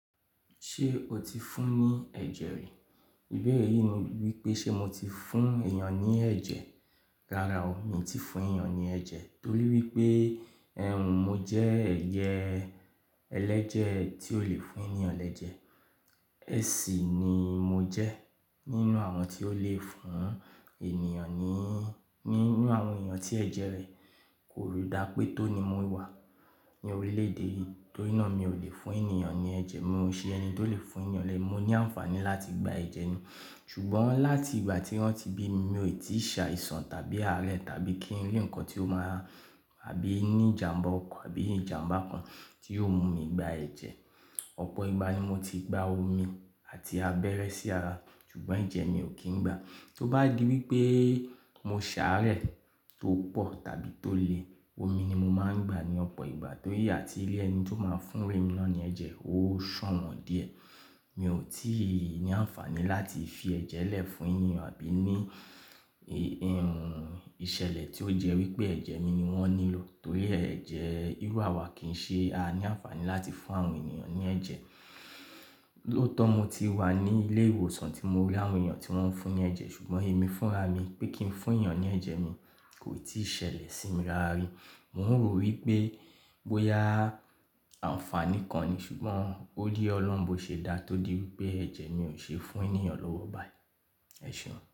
Ṣé o ti fún ní ẹ̀jẹ̀ rẹ? Ìbéèrè yìí ni wípé ṣe mo ti fún èèyàn ní ẹ̀jẹ̀. Rárá ọ, mi ò tí ì fún èèyàn ní ẹ̀jẹ̀ torí wípé ẹ̀hun mo jẹ́ ẹ̀ye ẹlẹ́jẹ̀ tí ó lè fún èèyàn lẹ́jẹ̀. AC ni mo jẹ́ nínú àwọn tí ó lè fún ènìyàn ní, ní, nínú àwọn èèyàn tí ẹ̀jẹ̀ rẹ̀ kò dá pé tó ni mo wà ní orílẹ̀ èdè yìí torí náà mi ò lè fún èèyàn ní ẹ̀jẹ̀. Mi ò ṣe ẹni tó lè fún èèyàn lẹ́, mo ní àǹfààní láti gba ẹ̀jẹ̀ ni ṣùgbọ́n láti ìgbà tí wọ́n ti bí mi, mi ò tí ì ṣàìsàn tàbí àárẹ̀ tàbí kí n rí ǹkan tí ó máa àbí ní ìjàǹbá ọko àbí ìjàǹbá kan tí yóò mú mi gba ẹ̀jẹ̀. Ọ̀pọ̀ ìgbà ni mo ti gba omi àti abẹ́rẹ́ sí ara ṣùgbọ́n ẹ̀jẹ̀ mi ò kí ń gbà. Tó bá di wípé mo ṣàárẹ̀ tó pọ̀ tàbí tó le, omi ni mo máa ń gbà ní ọ̀pọ̀ ìgbà torí àti ilé ẹni tí ó máa fún mi èmi náà ni ẹ̀jẹ̀ ó sàn wọ́n díẹ̀. Mi ò tí ì ní àǹfààní láti fi ẹ̀jẹ̀ lẹ̀ fún èèyàn àbí ní ìṣẹ̀lẹ̀ tí ó jẹ́ wípé ẹ̀jẹ̀ mi ni wọ́n nílò torí ẹ̀jẹ̀ irú àwa kì í ṣe a ní àǹfààní láti fún àwọn èèyàn ní ẹ̀jẹ̀. Lóòótọ́ mo ti wà ní ilé ìwòsàn tí mo rí àwọn èèyàn tí wọ́n ń fún ní ẹ̀jẹ̀ ṣùgbọ́n èmi fúnra mi pé kí n fún èèyàn ní ẹ̀jẹ̀ mi kò tí ì ṣẹlẹ̀ sí mi rárí. Mo ń rò wípé bóyá àǹfààní kan ni ṣùgbọ́n ó yé Ọlọ́run bó ṣe dá tó di wípé ẹ̀jẹ̀ mi ò ṣe fún ènìya lọ́wọ́ báyìí. Ẹ̀ ṣeun.